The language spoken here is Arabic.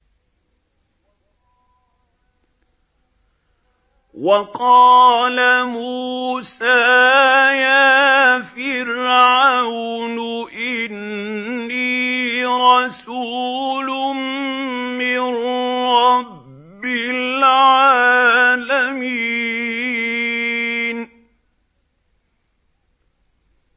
وَقَالَ مُوسَىٰ يَا فِرْعَوْنُ إِنِّي رَسُولٌ مِّن رَّبِّ الْعَالَمِينَ